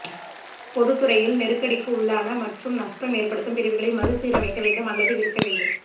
பொதுத்துறையில் நெருக்கடிக்கு உள்ளான மற்றும் நஷ்டம் ஏற்படுத்தும் பிரிவுகளை மறுசீரமைக்க வேண்டும் அல்லது விற்க வேண்டும்